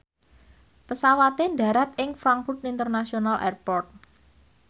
pesawate ndharat ing Frankfurt International Airport